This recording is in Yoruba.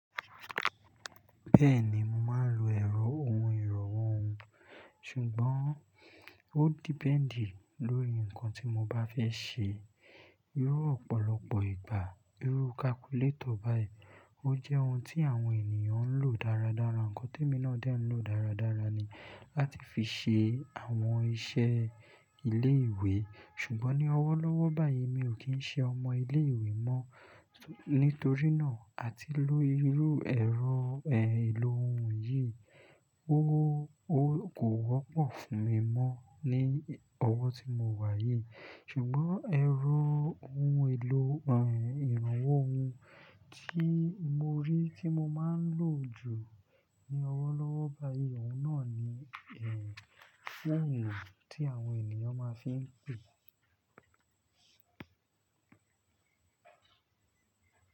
Bẹ́ẹ̀ni, mo máa ń lo ẹ̀rọ ohun ìrànwọ́ ohun, ṣùgbọ́n ó dependi lórí nǹkan tí mo bá fẹ́ ṣe. Irú ọ̀pọ̀lọpọ̀ ìgbà, irú calculator báyìí, ó jẹ́ ohun tí àwọn ènìyàn ń lò dáradára, nǹkan tí èmi náà dẹ́ ń lò dáradára ni láti fi ṣe àwọn iṣẹ́ ilé ìwé. Ṣùgbọ́n ní ọwọ́ lọ́wọ́ báyìí mi ò kí ń ṣe ọmọ ilé ìwé mọ́, nítorí náà àti ló irú ẹ̀rọ ìlò ohun yìí, ó, ó kò wọ́pọ̀ fún mi mọ́ ní ọwọ́ tí mo wà yìí. Ṣùgbọ́n ẹ̀rọ ohun ìlò, ehn, ìrànwọ́ ohun tí mo rí tí mo máa ń lò jù ní ọwọ́ lọ́wọ́ báyìí, òun náà ni eh, phone tí àwọn ènìyàn máa ń fi ń pe.